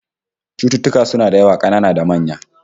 Cututtuka suna da yawa, kanana da manya